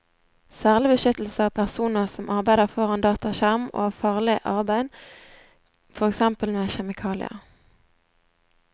Særlig beskyttelse av personer som arbeider foran dataskjerm og av farlig arbeid, for eksempel med kjemikalier.